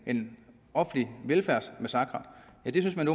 offentlig velfærdsmassakre men det synes man